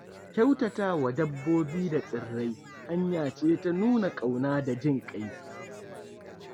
Kyautata wa dabbobi da tsirrai hanya ce ta nuna ƙauna da jin ƙai.